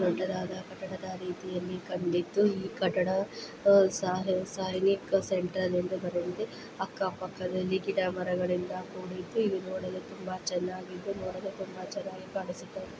ದೊಡ್ಡದಾದ ಕಟಡ ರೀತಿಯಲ್ಲಿ ಕಂಡಿದ್ದು ಈ ಕಟಡ ಸಾಹಿ ಸಾಹಿಕ ಸೆಂಟ್ರಲ್ ಯೆಂದು ಬರೆದಿದೆ ಅಕ್ಕ ಪಕ್ಕ ಗಿಡ ಮರಗಳು ತೊಡಿಯಿಸಿ ನೋಡಲು ತುಂಬಾ ಚನ್ನಾಗಿ ಇದ್ದು ನೋಡಲು ತುಂಬಾ ಚನ್ನಾಗಿ ಕಾಣಿಸುತ್ತದೆ